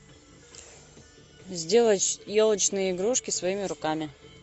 сделать елочные игрушки своими руками